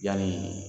Yani